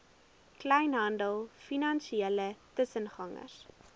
kleinhandel finansiële tussengangers